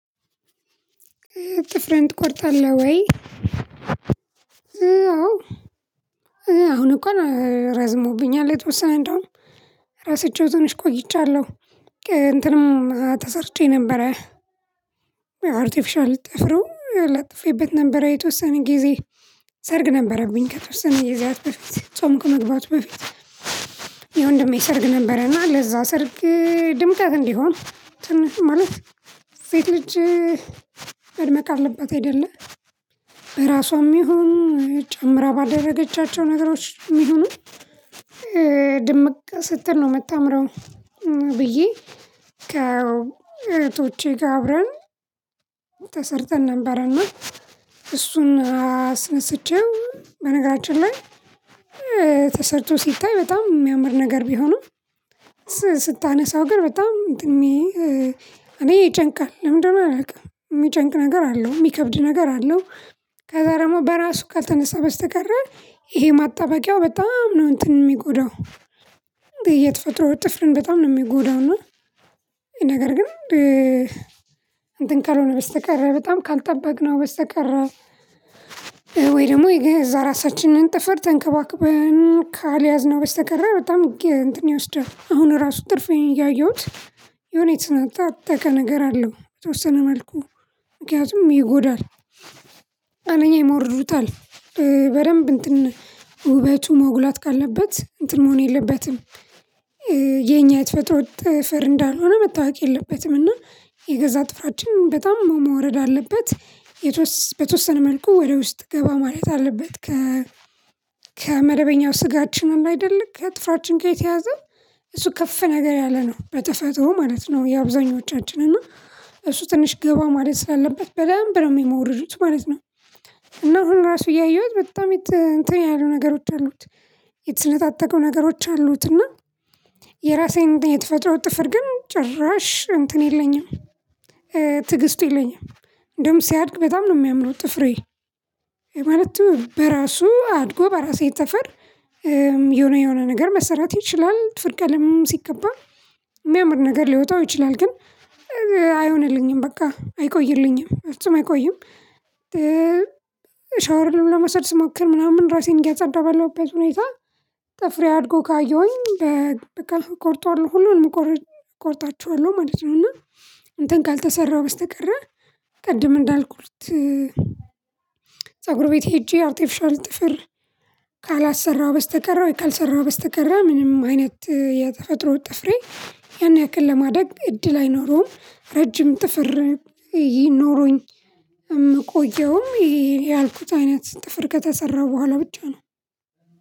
ጥፍርህን ትቆርጣለህ ወይ? አዎ አሁን እካን ረዝሞብኛል የተወሰነ እንደውም ረስቸው ትንሽ ቆይቻለሁ እንትንም ተሰርቼ ነበረ አርቲፊሻል ጥፍሩም ለጥፌበት ነበረ የተወሰነ ጊዜ። ሰርግ ነበረብኝ ከተወሰነ ጊዛት በፊት ጾም ከመግባቱ በፊት። የወንድሜ ሰርግ ነበረና ለዛ ሰርግ ድምቀት እንዲሆን ትንሽ ማለት ሴት ልጅ መድመቅ አለባት አይደለ ራሷም ይሁን ጨምራ ባደረገቻቸው ነገሮች የሚሆኑ ድምቅ ስትል ነው የምታምረው። ብዬ ከእህቶቼ ጋር አብረን ተሰርተን ነበርና እሱን አስነስቼው በነገራችን ላይ። ተሰርቶ ሲታይ በጣም የሚያምር ነገር ቢሆንም። ስታነሳው ግን በጣም እኔ ይጨንቃል ለምንድነው አላውቅም የሚጨንቅ ነገር አለው የሚከብድ ነገር አለው። ከዛ ደግሞ በራሱ ካልተነሳ በስተቀር ይሄ ማጣበቂያው በጣም ነው እንትን የሚጎዳው። የተፈጥሮ ጥፍርን በጣም ነው የሚጎዳው። እና ይሄ ነገር ግን እንትን ካልሆነ በስተቀር በጣም ካልጠበቅነው በስተቀር። ወይ ደግሞ የገዛ ራሳችንን ጥፍር ተንከባክበን ካልያዝነው በስተቀር በጣም እንትን ይወስዳል። አሁን ራሱ ጥፍሬን እያየሁት የሆነ የተነጣጣቀ ነገር አለው የተወሰነ መልኩ ምክንያቱም ይጎዳል። አንደኛ ይሞርሩታል በደንብ እንትን ውበቱ መውጋት ካለበት እንትን መሆን የለበትም። የኛ የተፈጥሮ ጥፍር እንዳልሆነ መታወቅ የለበትም እና የገዛ ጥፍራችን በጣም መሞረድ አለበት። በተወሰነ መልኩ ወደ ውስጥ ገባ ማለት አለበት ከ ከመደበኛው ስጋችን አለ አይደለም ከጥፍራችን ጋየተያዘ። እሱ ከፍ ነገር ያለ ነው በተፈጥሮ ማለት ነው። የአብዛኞቻችን እና እሱ ትንሽ ገባ ማለት ስላለበት በደንብ ነው የሚሞሩዱት ማለት ነው። እና አሁን ራሱ እያየሁት በጣም እንትን ያሉ ነገሮች አሉት። የተሰነጣጠቀው ነገሮች አሉት እና የራሴን የተፈጥሮ ጥፍር ግን ጭራሽ እንትን የለኝም። ትግስቱ የለኝም። እንደውም ሲያድግ በጣም ነው የሚያምነው ጥፍሬ ይሄ ማለቱ በራሱ አድጎ በራሴ ጥፍር። የሆነ የሆነ ነገር መሰራት ይችላል ጥፍር ቀልም ሲቀባ ሚያምር ነገር ሊወጣው ይችላል ግን አይሆንልኝም በቃ አይቆይልኝም በፍጹ አይቆይም። ሻወርን ለመውሰድ ስሞክር ምናምን ራሴን እያጸዳው ባለውበት ሁኔታ ጥፍሬ አድጎ ካየሁኝ በቃ ቆርጠዋለው ሁሉንም እቆርጣቸዋለሁ ማለት ነው። እና እንትን ካልተሰራሁ በስተቀር ቅድም እንዳልኩት። ፀጉር ቤት ሄጄ አርቲፊሻል ጥፍር ካላሰራው በስተቀር ካልሰራሁ በስተቀር ምንም አይነት የተፈጥሮ ጥፍሬ ያን ያክል ለማደግ እድል አይኖረውም ረጅም ጥፍር ኖረኝ እምቆየውም ይሄ ያልኩት አይነት ጥፍር ከተሰራ በኋላ ብቻ ነው።